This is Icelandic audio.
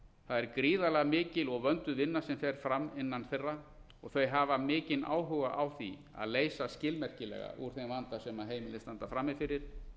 það er gríðarlega mikil og vönduð vinna sem fer fram innan þeirra og þau hafa mikinn áhuga á því að leysa skilmerkilega úr þeim vanda sem heimilin standa frammi fyrir